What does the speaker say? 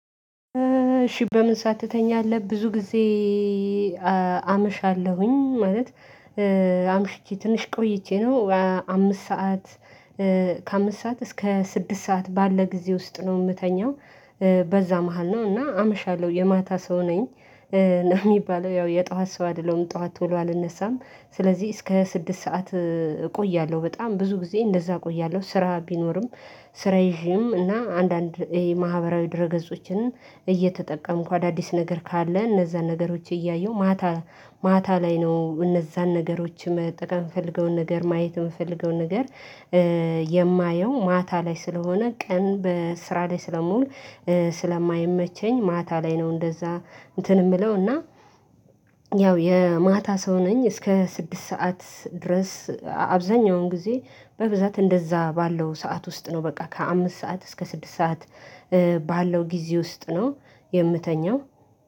እሺ፣ በምን ሰዓት ትተኛለህ? ብዙ ጊዜ አመሻለሁኝ ማለት አምሽቼ ትንሽ ቆይቼ ነው አምስት ሰዓ፣ ከአምስት ሰዓት እስከ ስድስት ሰዓት ባለ ጊዜ ውስጥ ነው የምተኛው። በዛ መሃል ነው እና አመሻለሁ የማታ ሰው ነኝ ነው የሚባለው ያው የጧት ሰው አይደለም፤ ጧት ቶሎ አልነሳም። ስለዚህ እስከ ስድስት ሰዓት እቆያለሁ፤ በጣም ብዙ ጊዜ እንደዛ እቆያለሁ ስራ ቢኖርም። ስራ ይዤም እና አንዳንድ የማህበራዊ ድረ ገጾችን እየተጠቀም፣ አዳዲስ ነገር ካለ እነዛን ነገሮች እያየሁ ማታ ማታ ላይ ነው እነዛን ነገሮች መጠቀም የምፈልገውን ነገር ማየት የምፈልገውን ነገር የማየው ማታ ላይ ስለሆነ ቀን በስራ ላይ ስለምውል ስለማይመቸኝ ማታ ላይ ነው እንደዛ እንትን የምለው እና የማታ ሰው ነኝ፤ እስከ ስድስት ሰዓት ድረስ አብዛኛውን ጊዜ በብዛት እንደዛ ባለው ሰዓት ውስጥ ነው በቃ ከአምስት ሰዓት እስከ ስድስት ሰዓት ባለው ጊዜ ውስጥ ነው የምተኛው።